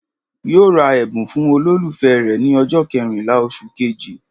Yóò ra ẹ̀bùn fún olólùfẹ́ rè ní ọjọ́ kẹrìnlá osù kejì